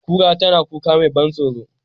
Kura tana kuka mai ban tsaro,